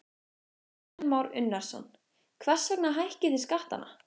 Kristján Már Unnarsson: Hvers vegna hækkið þið skattana?